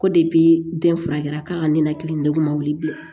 Ko den furakɛra k'a ka nɛnɛkili degun ma wuli bilen